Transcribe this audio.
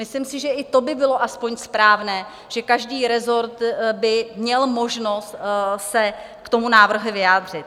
Myslím si, že i to by bylo alespoň správné, Že každý rezort by měl možnost se k tomu návrhu vyjádřit.